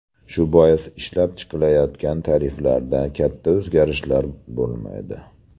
Shu bois, ishlab chiqilayotgan tariflarda katta o‘zgarishlar bo‘lmaydi.